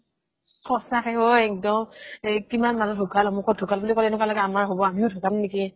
সঁচাকৈ একদম এই কিমান মানুহ ঢুকাল অমুকত ঢুকাল বুলি ক'লে এনেকুৱা লাগে আমাৰ হ'ব আমিও ঢুকাম নেকি ?